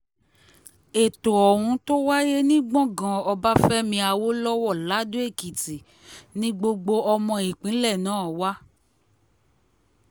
ètò ohun tó wáyé ní gbọ̀ngàn ọbáfẹ́mi awolowo lado-ekìtì ni gbogbo ọmọ ìpínlẹ̀ náà wà